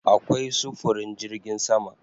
Akwai sufurin jirgin sama